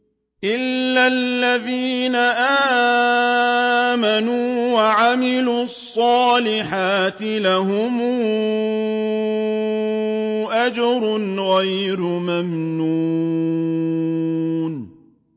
إِلَّا الَّذِينَ آمَنُوا وَعَمِلُوا الصَّالِحَاتِ لَهُمْ أَجْرٌ غَيْرُ مَمْنُونٍ